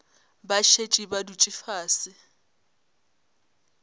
ba šetše ba dutše fase